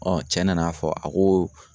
cɛ nana fɔ, a ko